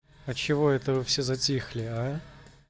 а чего это вы все затихли а